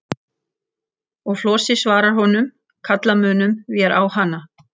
Og Flosi svarar honum: Kalla munum vér á hana.